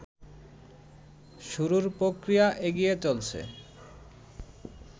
শুরুর প্রক্রিয়া এগিয়ে চলছে